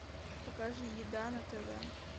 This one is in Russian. покажи еда на тв